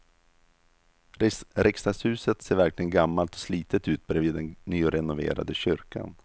Riksdagshuset ser verkligen gammalt och slitet ut bredvid den nyrenoverade kyrkan.